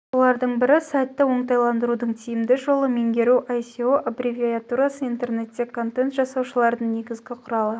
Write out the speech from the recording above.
солардың бірі сайтты оңтайлантырудың тиімді жолы меңгеру еас еіе оііаіо аббревиатурасы интернетте контент жасаушылардың негізгі құралы